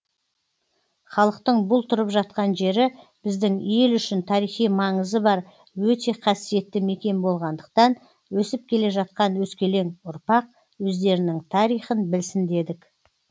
халықтың бұл тұрып жатқан жері біздің ел үшін тарихи маңызы бар өте қасиетті мекен болғандықтан өсіп келе жатқан өскелең ұрпақ өздерінің тарихын білсін дедік